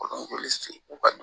Olu se u ka